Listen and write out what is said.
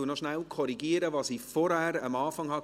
Ich korrigiere kurz, was ich eingangs sagte.